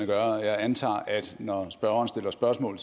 gør jeg antager at når spørgeren stiller spørgsmål